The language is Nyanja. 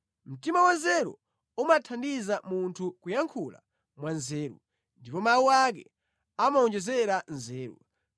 Mtima wanzeru umathandiza munthu kuyankhula mwa nzeru, ndipo mawu ake amawonjezera nzeru.